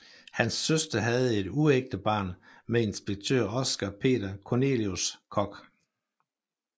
Hans søster havde et uægte barn med inspektør Oscar Peter Cornelius Kock